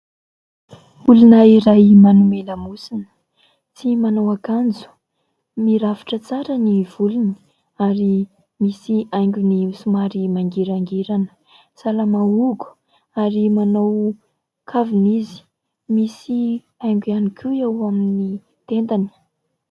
Olona iray manome lamosina tsy manao akanjo, mirafitra tsara ny volony ary misy haingony somary mangirangirana. Salama hogo ary manao kavina izy. Misy haingo ihany koa eo amin'ny tendany.